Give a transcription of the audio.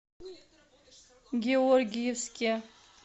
георгиевске